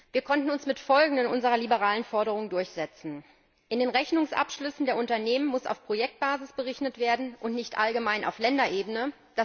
Wir konnten uns mit den folgenden unserer liberalen Forderungen durchsetzen In den Rechnungsabschlüssen der Unternehmen muss auf Projektbasis berechnet werden und nicht allgemein auf Länderebene.